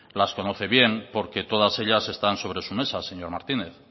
las conoce bien porque todas ellas están sobre su mesa señor martínez